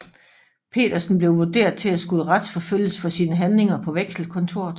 Petersen blev vurderet til at skulle retsforfølges for sine handlinger på Vekselkontoret